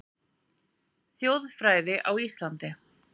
Þjóðfræði á Íslandi